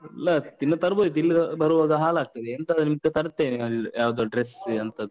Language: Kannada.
ಇಲ್ಲ, ತಿನ್ನುವುದ್ ತರ್ಬೋದಿತ್ತು. ಇಲ್ಲಿ ಬರುವಾಗ ಹಾಳಾಗ್ತದೆ. ಎಂತ ಎಂತ ಬೇಕು ತರ್ತೇನೆ, ಯಾವ್ದೋ dress ಅಂತದ್ದು.